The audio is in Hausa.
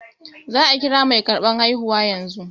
Za a kira mai karɓar haihuwa yanzu